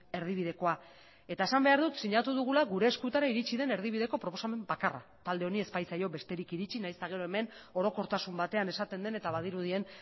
erdibidekoa eta esan behar dut sinatu dugula gure eskutara iritsi den erdibideko proposamen bakarra talde honi ez baitzaio besterik iritsi nahiz eta gero hemen orokortasun batean esaten den eta badirudien